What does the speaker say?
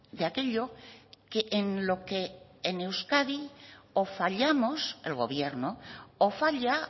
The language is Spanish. de aquello que en lo que en euskadi o fallamos el gobierno o falla